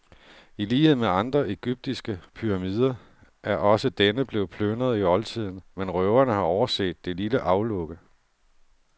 I lighed med andre egyptiske pyramider er også denne blevet plyndret i oldtiden, men røverne har overset det lille aflukke.